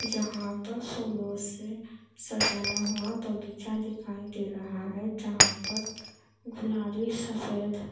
यहाँ पर फूलों से सजाया हुआ बगीचा दिखाई दे रहा है जहाँ पर गुलाबी सफेद--